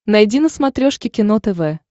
найди на смотрешке кино тв